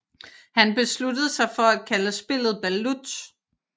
Han besluttede sig for at kalde spillet balut